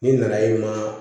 N'i nana ye ma